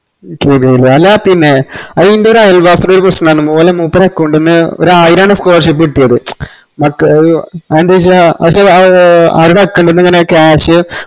അല്ലാ പിന്നെ എന്റെ ഒരു അയൽവാസിന്റെ ഒരുപ്രശ്നംഇൻഡ് ഓലെ മൂപ്പരെ account ന്ന ഒര് ആയിരന്ന് scholarship കിട്ടിയത് അത് ന്താച്ചാ പക്ഷെ അവരുടെ account ന്ന ഇങ്ങനെ cash